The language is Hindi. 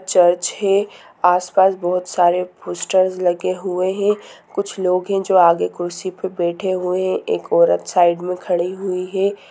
चर्च है आस-पास बहुत सारे पोस्टर्स लगे हुए हैं कुछ लोग है जो आगे कुर्सी पर बैठे हुए हैं एक औरत साइड में खड़ी हुई है।